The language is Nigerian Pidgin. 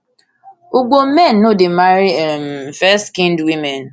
ugbo men no dey marry um fairskinned women